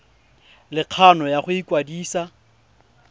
le kgano ya go ikwadisa